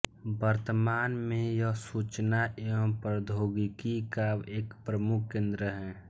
वर्तमान में यह सूचना एवं प्रोद्योगिकी का एक प्रमुख केन्द्र है